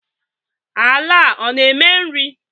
Ala a ọ na-eme nri?